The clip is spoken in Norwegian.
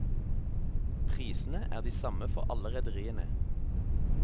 Prisene er de samme for alle rederiene.